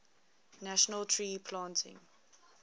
national tree planting